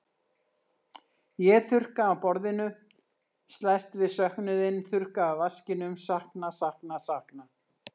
Ég þurrka af borðinu, slæst við söknuðinn, þurrka af vaskinum, sakna, sakna, sakna.